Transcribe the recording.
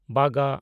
ᱵᱟᱜᱟ